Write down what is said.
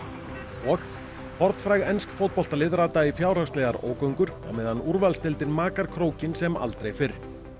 og fornfræg ensk fótboltalið rata í fjárhagslegar ógöngur á meðan úrvalsdeildin makar krókinn sem aldrei fyrr